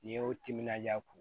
N'i y'o timinanja ko